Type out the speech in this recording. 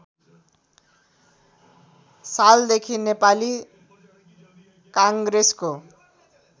सालदेखि नेपाली काङ्ग्रेसको